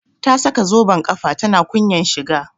Ta saka zoben kafa tana kunyan shiga